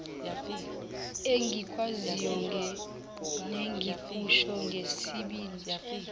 engikwaziyo nengikusho ngesibindi